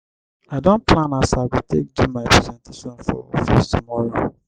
i don plan as i go take do my presentation for office tomorrow.